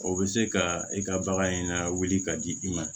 O bɛ se ka i ka bagan in lawuli ka di i ma